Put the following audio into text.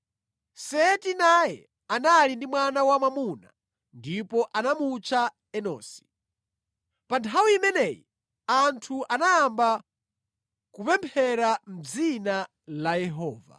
Seti naye anali ndi mwana wa mwamuna, ndipo anamutcha Enosi. Pa nthawi imeneyi anthu anayamba kupemphera mʼdzina la Yehova.